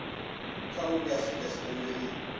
kha uri afurika tshipembe i